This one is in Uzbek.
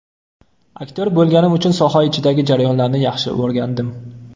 Aktyor bo‘lganim uchun soha ichidagi jarayonlarni yaxshi o‘rgandim.